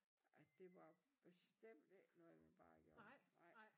At det var bestemt ikke noget man bare gjorde nej